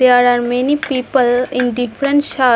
There are many people in different shirt.